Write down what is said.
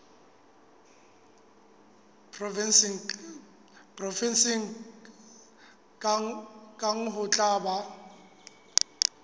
provenseng kang ho tla ba